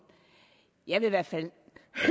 jeg vil i hvert fald